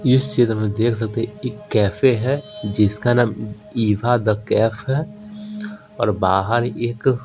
इस चित्र में देख सकते हैं एक कैफे है जिसका नाम इवा द कैफ है और बाहर एक--